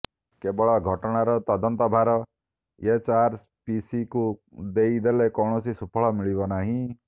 କେବଳ ଘଟଣାର ତଦନ୍ତ ଭାର ଏଚଆରପିସିକୁ ଦେଇଦେଲେ କୌଣସି ସୁଫଳ ମିଳିବ ନାହିଁ